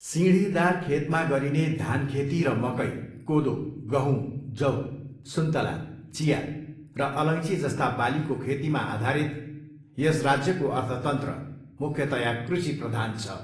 सिँढीदार खेतमा गरिने धानखेती र मकै, कोदो, गहुँ, जौ, सुन्तला, चिया र अलैँचीजस्ता बालीको खेतीमा आधारित यस राज्यको अर्थतन्त्र मुख्यतया कृषिप्रधान छ।